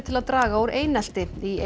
til að draga úr einelti í